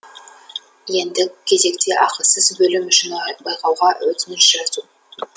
ендігі кезекте ақысыз бөлім үшін байқауға өтініш жазу